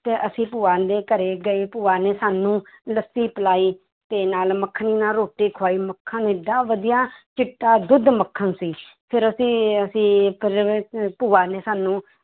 ਤੇ ਅਸੀਂ ਭੂਆ ਦੇ ਘਰੇ ਗਏ, ਭੂਆ ਨੇ ਸਾਨੂੰ ਲੱਸੀ ਪਿਲਾਈ ਤੇ ਨਾਲ ਮੱਖਣੀ ਨਾਲ ਰੋਟੀ ਖੁਆਈ, ਮੱਖਣ ਏਡਾ ਵਧੀਆ ਚਿੱਟਾ ਦੁੱਧ ਮੱਖਣ ਸੀ ਫਿਰ ਅਸੀਂ ਅਸੀਂ ਇੱਕ ਹੋਰ ਜਗ੍ਹਾ ਅਹ ਭੂਆ ਨੇ ਸਾਨੂੰ